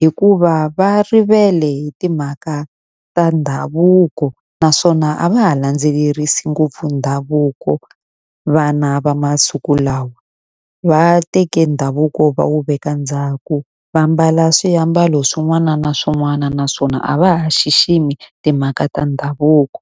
hikuva va rivele hi timhaka ta ndhavuko. Naswona a va ha la landzelerisi ngopfu ndhavuko vana va masiku lawa. Va teke ndhavuko va wu veka ndzhaku, va ambala swiambalo swin'wana na swin'wana naswona a va ha xiximi timhaka ta ndhavuko.